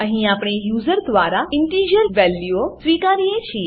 અહીં આપણે યુઝર દ્વારા ઇન્ટિજર ઇન્ટીજર વેલ્યુઓ સ્વીકારીએ છીએ